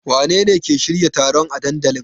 Wanene ke shirya taron a dandalin?